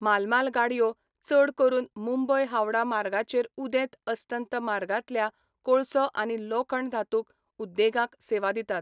माल माल गाडयो चड करून मुंबय हावड़ा मार्गाचेर उदेंत अस्तंत मार्गांतल्या कोळसो आनी लोखण धातुक उद्देगांक सेवा दितात.